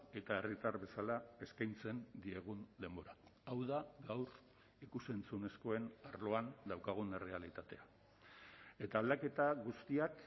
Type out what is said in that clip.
eta herritar bezala eskaintzen diegun denbora hau da gaur ikus entzunezkoen arloan daukagun errealitatea eta aldaketa guztiak